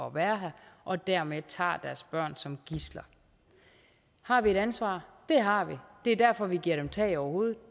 at være her og dermed tager deres børn som gidsler har vi et ansvar det har vi det er derfor vi giver dem tag over hovedet